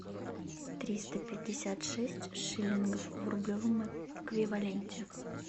триста пятьдесят шесть шиллингов в рублевом эквиваленте